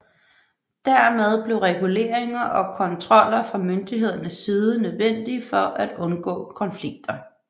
Dermed blev reguleringer og kontroller fra myndighedernes side nødvendige for at undgå konflikter